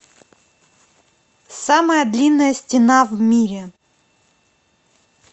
самая длинная стена в мире